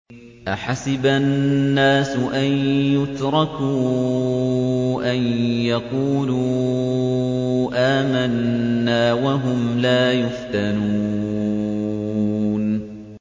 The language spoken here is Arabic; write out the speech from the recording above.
أَحَسِبَ النَّاسُ أَن يُتْرَكُوا أَن يَقُولُوا آمَنَّا وَهُمْ لَا يُفْتَنُونَ